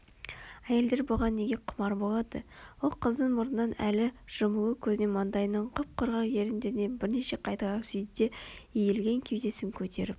Әйелдер бұған неге құмар болады ол қыздың мұрнынан әлі жұмулы көзінен маңдайынан құп-құрғақ еріндерінен бірнеше қайталап сүйді де иілген кеудесін көтеріп